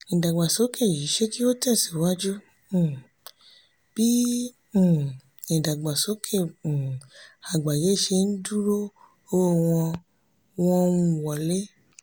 ìdàgbàsókè yìí ṣe kí ó tẹ̀síwájú um bí um ìdàgbàsókè um àgbáyé ṣe ń dúró owó wọ́n wọ́n ń wọlé.